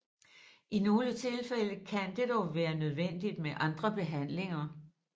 I nogle tilfælde kan det dog være nødvendigt med andre behandlinger